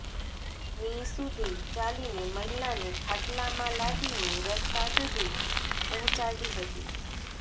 મી સુધી ચાલીને મહિલાને ખાટલામાં લાદીને રસ્તા સુધી પહોંચાડી હતી